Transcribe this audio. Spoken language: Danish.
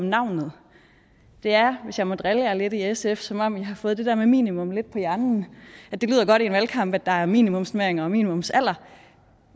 navnet det er hvis jeg må drille jer lidt i sf som om i har fået det der med minimum lidt på hjernen det lyder godt i en valgkamp at der er minimumsnormeringer og minimumsalder